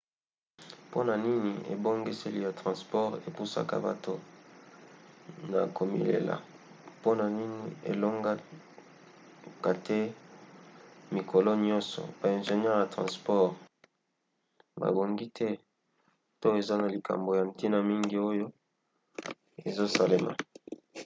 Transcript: mpona nini ebongiseli ya transport epusaka bato na komilela mpona nini elongaka te mikolo nyonso? ba ingenieur ya transport babongi te? to eza na likambo ya ntina mingi oyo ezosalema?